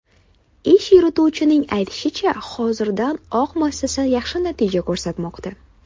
Ish yurituvchining aytishicha, hozirdan oq muassasa yaxshi natija ko‘rsatmoqda.